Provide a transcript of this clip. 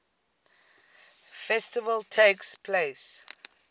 festival takes place